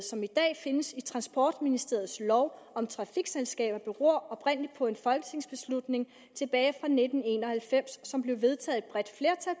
som i dag findes i transportministeriets lov om trafikselskaber beror oprindelig på en folketingsbeslutning tilbage fra nitten en og halvfems som blev vedtaget